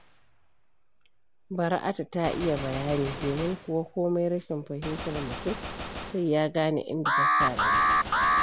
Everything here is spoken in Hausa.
Bara'atu ta iya bayani, domin kuwa komai rashin fahimtar mutum sai ya gane inda ta sa gaba.